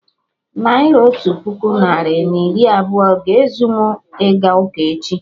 Naira otu puku narị na iri abụọ a-ga ezu mụ ịga ụka echi?